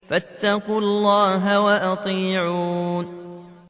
فَاتَّقُوا اللَّهَ وَأَطِيعُونِ